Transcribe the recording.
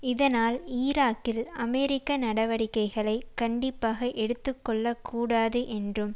இதனால் ஈராக்கில் அமெரிக்க நடவடிக்கைகளை கண்டிப்பாக எடுத்துக்கொள்ளக் கூடாது என்றும்